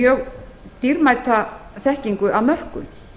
mjög dýrmæta þekkingu að mörkum